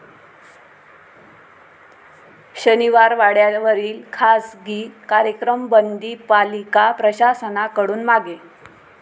शनिवारवाड्यावरील खासगी कार्यक्रम बंदी पालिका प्रशासनाकडून मागे